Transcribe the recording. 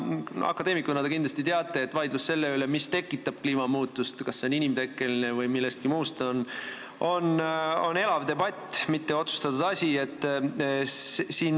Akadeemikuna te kindlasti teate, et vaidlus selle üle, mis tekitab kliimamuutust, kas see on inimtekkeline või on tekkinud millestki muust, on elav, see ei ole otsustatud asi.